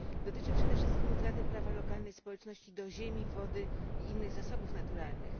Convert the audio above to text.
Dotyczy przede wszystkim utraty prawa lokalnej społeczności do ziemi, wody i innych zasobów naturalnych.